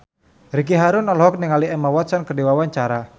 Ricky Harun olohok ningali Emma Watson keur diwawancara